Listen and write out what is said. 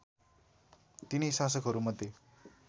तिनै शासकहरूमध्ये